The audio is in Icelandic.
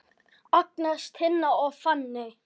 Agnes, Tinna og Fanney.